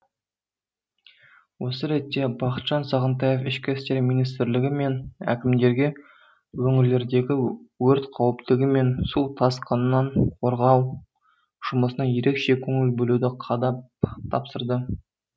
осы ретте бақытжан сағынтаев ішкі істер министрлігі мен әкімдерге өңірлердегі өрт қауіптігі мен су тасқынынан қорғау жұмысына ерекше көңіл бөлуді қадап тапсырды